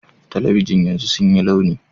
Talabijin yanzu sun yi launi